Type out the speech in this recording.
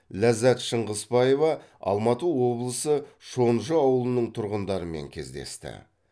ләззат шыңғысбаева алматы облысы шонжы ауылының тұрғындарымен кездесті